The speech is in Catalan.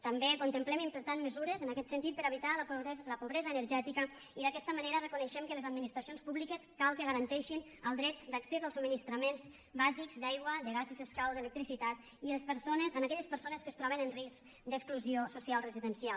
també contemplem implementar mesures en aquest sentit per a evitar la pobresa energètica i d’aquesta manera reconeixem que les administracions públiques cal que garanteixin el dret d’accés als subministraments bàsics d’aigua de gas si s’escau d’electricitat a aquelles persones que es troben en risc d’exclusió social residencial